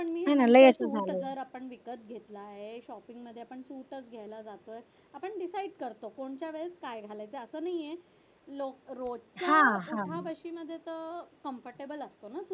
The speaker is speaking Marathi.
color आपण विकत घेतला आहे shopping मध्ये पण pink च घ्यायला जातो आपण decide करतो कि कोणत्या वेळेस काय घ्यालायचं मध्ये तर comfortable असत ना